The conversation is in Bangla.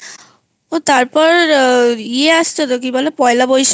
ও তারপর আ ইয়ে আসছে তো কি বলে পয়লা বৈশাখ